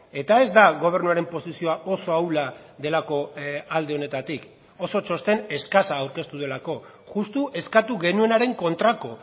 eta ez da gobernuaren posizioa oso ahula delako alde honetatik oso txosten eskasa aurkeztu delako justu eskatu genuenaren kontrako